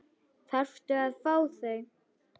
Þarftu að fá þau?